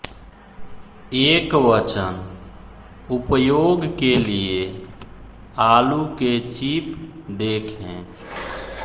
एकवचन उपयोग के लिए आलू के चिप देखें